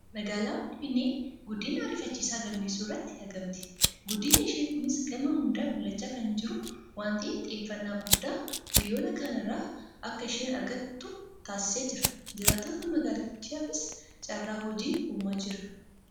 Magaalaan Finfinnee guddina ariifachiisaa galmeessuu irratti argamti. Guddinni ishee kunis gama hundaan mul'achaa kan jiru waan ta'eef xiyyeeffannaa guddaa biyyoota kaan irraas akka isheen argattu taasisaa jira. Jiraattota magaalittiifis carraa hojii uumaa jira.